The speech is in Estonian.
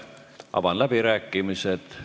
Avan läbirääkimised.